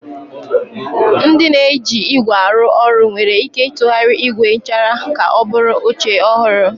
Ndị na-eji ígwè arụ ọrụ nwere ike ịtụgharị ígwè nchara ka ọ bụrụ oche ọhụrụ.